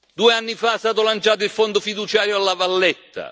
Due anni fa è stato lanciato il Fondo fiduciario a La Valletta